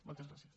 moltes gràcies